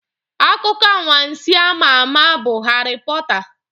Akụkọ anwansi a ma ama bụ Harry Porter.